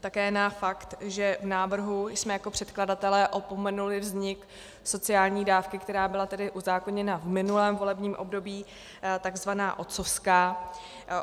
Také na fakt, že v návrhu jsme jako předkladatelé opomenuli vznik sociální dávky, která byla tedy uzákoněna v minulém volebním období, takzvaná otcovská.